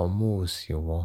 ọmú òsì wọn